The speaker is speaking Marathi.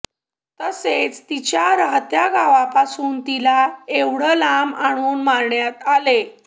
तसेच तिच्या राहत्या गावापासून तिला एवढय़ा लांब आणून मारण्यात आले